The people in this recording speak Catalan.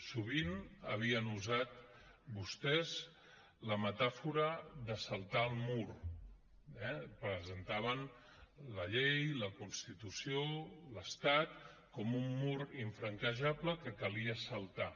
sovint havien usat vostès la metàfora de saltar el mur eh presentaven la llei la constitució l’estat com un mur infranquejable que calia saltar